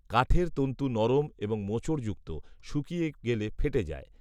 কাঠের তন্তু নরম এবং মোচড়যুক্ত, শুকিয়ে গেলে ফেটে যায়